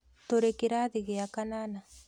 Tũrĩ kĩrathi gĩa kanana